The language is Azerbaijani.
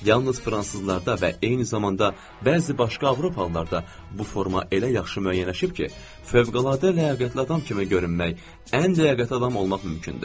Yalnız fransızlarda və eyni zamanda bəzi başqa avropalılarda bu forma elə yaxşı müəyyənləşib ki, fövqəladə ləyaqətli adam kimi görünmək, ən ləyaqətli adam olmaq mümkündür.